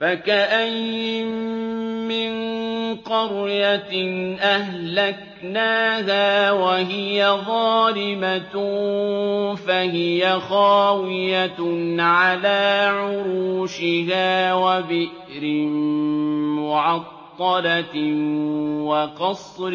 فَكَأَيِّن مِّن قَرْيَةٍ أَهْلَكْنَاهَا وَهِيَ ظَالِمَةٌ فَهِيَ خَاوِيَةٌ عَلَىٰ عُرُوشِهَا وَبِئْرٍ مُّعَطَّلَةٍ وَقَصْرٍ